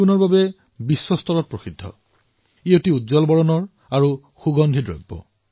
ই অত্যন্ত সুগন্ধিযুক্ত ইয়াৰ ৰং গাঢ় আৰু ইয়াৰ সুতা দীঘল আৰু শকত হয় যিয়ে ইয়াৰ ঔষধি মূল্য বৃদ্ধই কৰে